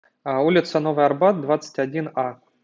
улица новый арбат двадцать один а